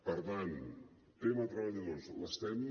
per tant tema treballadors l’estem